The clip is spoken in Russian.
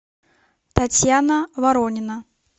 татьяна воронина